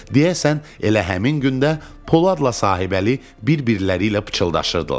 Deyəsən elə həmin gündə Poladla Sahibəli bir-birləri ilə pıçıldaşırdılar.